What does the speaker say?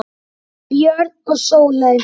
Björn og Sóley.